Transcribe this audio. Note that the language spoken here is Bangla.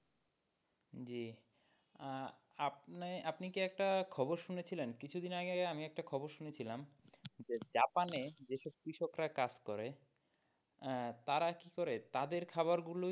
জি আহ আপনি, আপনি কি একটা খবর শুনেছিলেন কিছুদিন আগে আমি একটা খবর শুনেছিলাম যে জাপানে যেসব কৃষকরা কাজ করে আহ তারা কি করে তাদের খাওয়ার গুলো,